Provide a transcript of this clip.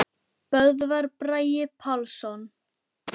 Böðvar Bragi Pálsson